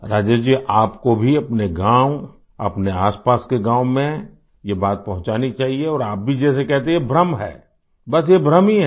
राजेश जी आपको भी अपने गाँव अपने आसपास के गाँव में ये बात पहुँचानी चाहिये और आप भी जैसे कहते हैं ये भ्रम है बस ये भ्रम ही है